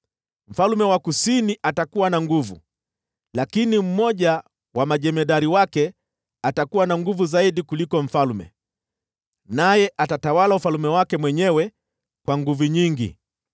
“Mfalme wa Kusini atakuwa na nguvu, lakini mmoja wa majemadari wake atakuwa na nguvu zaidi kuliko mfalme, naye atatawala ufalme wake mwenyewe kwa nguvu nyingi.